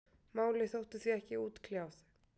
málið þótti því ekki útkljáð